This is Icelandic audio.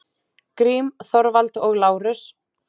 Grím, Þorvald og Lárus.